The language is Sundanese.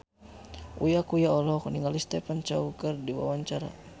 Uya Kuya olohok ningali Stephen Chow keur diwawancara